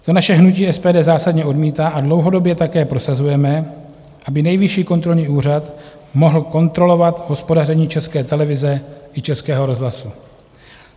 To naše hnutí SPD zásadně odmítá a dlouhodobě také prosazujeme, aby Nejvyšší kontrolní úřad mohl kontrolovat hospodaření České televize i Českého rozhlasu.